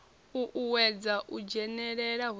uuwedza u dzhenelela hu sa